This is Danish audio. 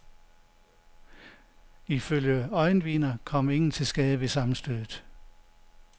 Ifølge øjenvidner kom ingen til skade ved sammenstødet.